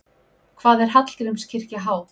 Hvað er Hallgrímskirkja há?